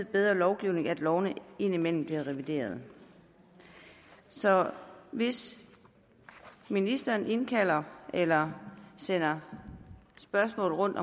bedre lovgivning at lovene indimellem bliver revideret så hvis ministeren indkalder eller sender spørgsmål rundt